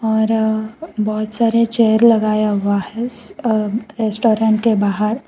और बहोत सारे चेयर लगाया हुआ है स अ रेस्टोरेंट के बाहर।